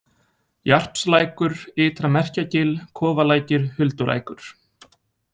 Jarpslækur, Ytra-Merkjagil, Kofalækir, Huldulækur